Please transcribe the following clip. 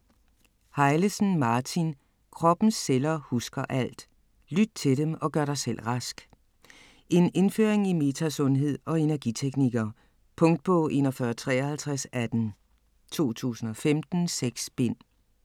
Hejlesen, Martin: Kroppens celler husker alt: lyt til dem, og gør dig selv rask En indføring i metasundhed og energiteknikker. Punktbog 415318 2015. 6 bind.